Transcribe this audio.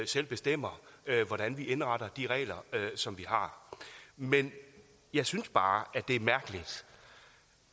selv bestemmer hvordan vi indretter de regler som vi har men jeg synes bare